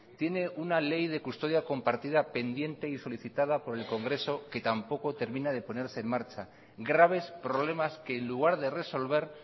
tiene una ley de custodia compartida pendiente y solicitada por el congreso que tampoco termina de ponerse en marcha graves problemas que en lugar de resolver